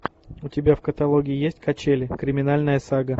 у тебя в каталоге есть качели криминальная сага